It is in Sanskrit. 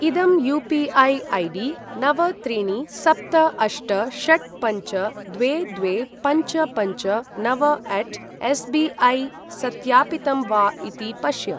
इदं यू.पी.ऐ. ऐडी नव त्रीणि सप्त अष्ट षट् पञ्च द्वे द्वे पञ्च पञ्च नव अट् ऎस् बि ऐ सत्यापितम् वा इति पश्य।